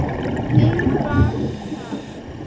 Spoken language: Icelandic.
Hún var það.